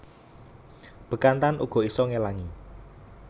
Bekantan uga isa ngelangi